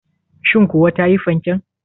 Shin kuwa ta yi fanken?